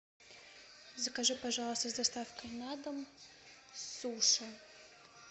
закажи пожалуйста с доставкой на дом суши